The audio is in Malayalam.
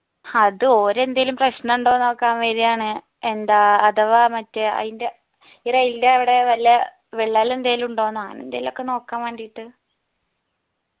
ഹത് ഓര് എന്തേലും പ്രശ്നഉണ്ടോന്ന് നോക്കാൻ വേരെയാണ് എന്താ അഥവാ മറ്റേ അയിന്റെ ഈ rail ൻ്റെ അവിടെ വല്ല വിള്ളൽ എന്തേലുമുണ്ടോ ന്ന അങ്ങനെ എന്തെലും ഒക്കെനോക്കാൻ വേണ്ടീട്ട്